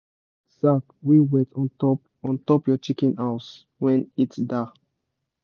put sack wey wet ontop ontop your chicken house when heat da